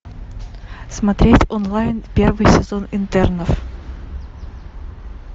смотреть онлайн первый сезон интернов